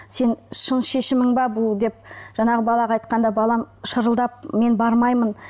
сен шын шешімің бе бұл деп жаңағы балаға айтқанда балам шырылдап мен бармаймын